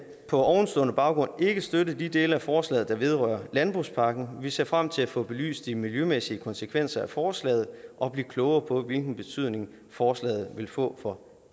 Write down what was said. på ovenstående baggrund ikke støtte de dele af forslaget der vedrører landbrugspakken vi ser frem til at få belyst de miljømæssige konsekvenser af forslaget og blive klogere på hvilken betydning forslaget vil få for